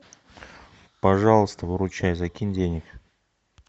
пожалуйста выручай закинь денег